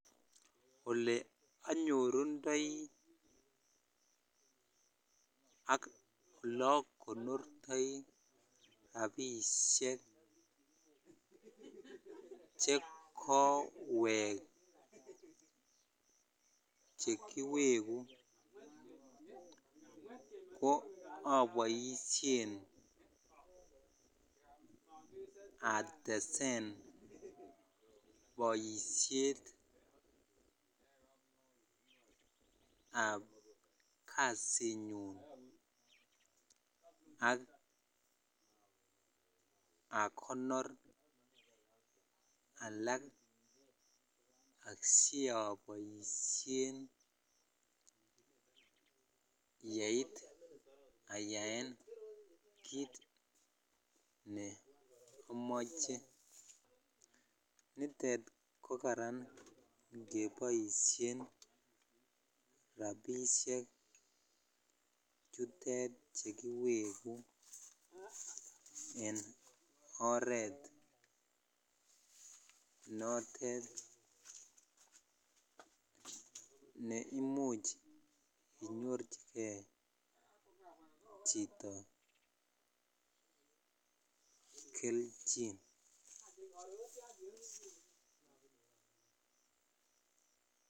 Ole anyorundoi ak ole akonortoi rabishek chekowek chekiwegu ko aboishen atesen boishet ab kasinyun ak akonor alak asiaboishen yeit kit ne amoche nitet ko karan ikeboishen rabishek chutet chu kiwegu en oret notet ne imuch inyorchikei chito kelchin.